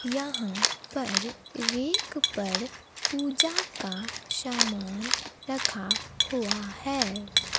यहां पर रेक पर पूजा का सामान रखा हुआ है।